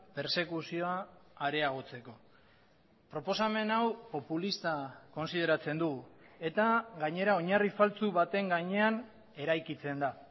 persekuzioa areagotzeko proposamen hau populista kontsideratzen du eta gainera oinarri faltsu baten gainean eraikitzen da